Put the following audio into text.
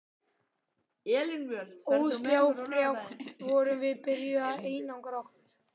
Ósjálfrátt vorum við byrjuð að einangra okkur.